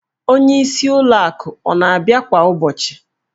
Onyeisi ụlọ akụ ọ na-abịa kwa ụbọchị?